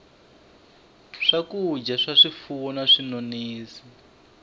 swakudya swa swifuwo na swinonisi